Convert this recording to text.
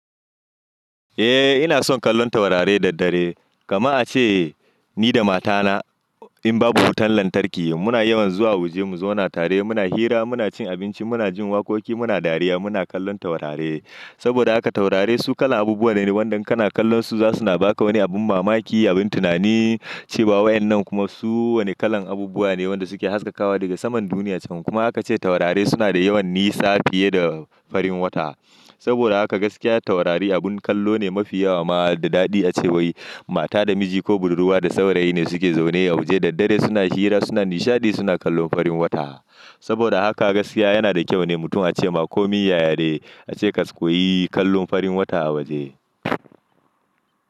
Eh ina son kallon taurari daddare. Kama a ce ni da matana in babu wutan lantarki muna yawan zuwa waje mu zauna tare muna hira muna cin abinci muna jin waƙoƙi muna dariya muna kallon taurare. Saboda haka taurari su kalan abubuwa ne wanda kana kallon su zasu na baka wani abun mamaki abun tunani cewa waƴannan kuma su wane kalan abubuwa ne wanda suke haskakawa daga saman duniya ciki. Kuma haka ace taurare suna da yawan nisa fiye da farin wata. Saboda haka gaskiya taurari abun kallo ne mafi yawa ma da daɗi a cewai mata da miji ko budurwa da saurayi ne suke zaune a waje daddare suna hira suna nishaɗi suna kallon farin wata. Saboda haka gaskiya yana da kyau ne mutum a ce ma komi yayade ace ka suƙo yi kallon farin wata a waje.